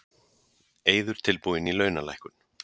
Eiður tilbúinn í launalækkun